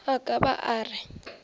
a ka ba a re